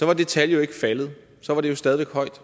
var det tal jo ikke faldet så var det jo stadig væk højt